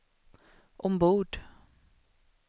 ombord